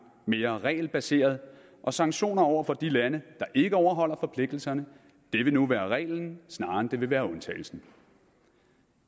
mere regelbaseret og sanktioner over for de lande der ikke overholder forpligtelserne vil nu være reglen snarere end undtagelsen